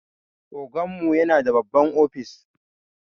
Oganmu yana da babban ofis.